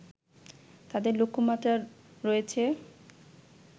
তাদের লক্ষ্যমাত্রা রয়েছে